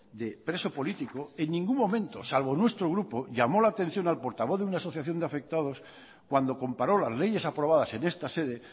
de preso político en ningún momento salvo nuestro grupo llamó la atención al portavoz de una asociación de afectados cuando comparó las leyes aprobadas en esta sede